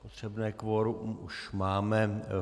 Potřebné kvorum už máme.